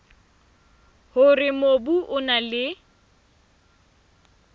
hore mobu o na le